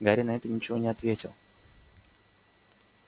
гарри на это ничего не ответил